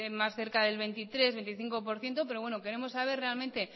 más cerca del veintitrés por ciento o veinticinco por ciento pero queremos saber realmente